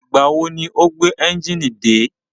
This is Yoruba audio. Ìgbà wo ni o gbé ẹ́njìnì dé?